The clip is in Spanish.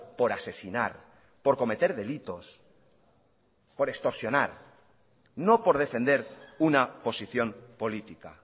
por asesinar por cometer delitos por extorsionar no por defender una posición política